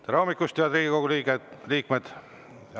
Tere hommikust, head Riigikogu liikmed!